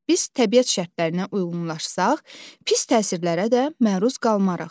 Biz təbiət şərtlərininə uyğunlaşsaq, pis təsirlərə də məruz qalmarıq.